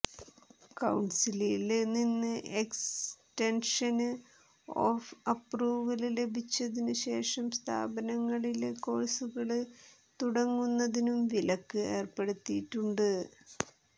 കൌണ്സിലില്നിന്ന് extension of approval ലഭിച്ചതിനു ശേഷം സ്ഥാപനങ്ങളില്കോഴ്സുകള് തുടങ്ങുന്നതിനും വിലക്ക് ഏര്പ്പെടുത്തിയിട്ടുണ്ട്